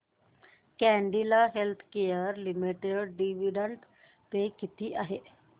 Cadila healthcare limited dividend pay किती आहे